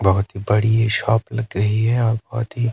बहुत बड़ी शॉप लग रही है और बहुत ही--